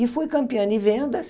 E fui campeã de vendas.